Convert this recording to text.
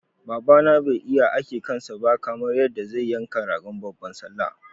Baba na bai iya ake kansa ba kamar yadda zai yanka ragon babban sallah.